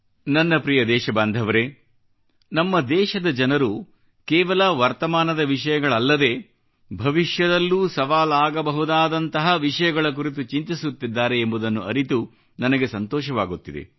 ನನ್ನ ಪ್ರಿಯ ದೇಶ ಬಾಂಧವರೇ ನಮ್ಮ ದೇಶದ ಜನರು ಕೇವಲ ವರ್ತಮಾನದ ವಿಷಯಗಳಲ್ಲದೇ ಭವಿಷ್ಯದಲ್ಲೂ ಸವಾಲಾಗಬಹುದಾದಂತಹ ವಿಷಯಗಳ ಕುರಿತು ಚಿಂತಿಸುತ್ತಿದ್ದಾರೆ ಎಂಬುದನ್ನು ಅರಿತು ನನಗೆ ಸಂತೋಷವಾಗುತ್ತಿದೆ